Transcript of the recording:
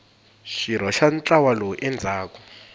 xirho xa ntlawa lowu endlaka